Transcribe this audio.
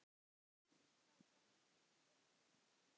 Stefán: Eitthvað stress í gangi?